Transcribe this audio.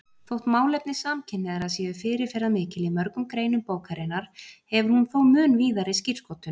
Þótt málefni samkynhneigðra séu fyrirferðarmikil í mörgum greinum bókarinnar hefur hún þó mun víðari skírskotun.